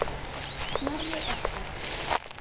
Snorri okkar.